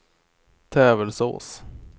Tävelsås